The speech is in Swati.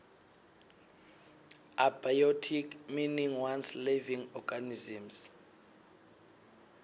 abiotic meaning once living organisms